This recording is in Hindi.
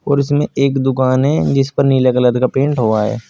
और इसमें एक दुकान है जिस पर नीले कलर का पेंट से हुआ है।